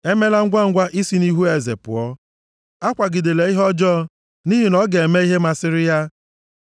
Emela ngwangwa isi nʼihu eze pụọ. Akwagidela ihe ọjọọ nʼihi na ọ ga-eme ihe masịrị ya.